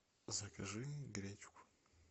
закажи гречку